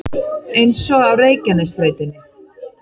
Eins og á Reykjanesbrautinni